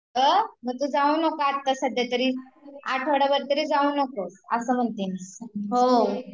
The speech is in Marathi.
म्हटलं जाऊ नको आता सध्यातरी आठवडाभर तरी जाऊ नको असं म्हणते मी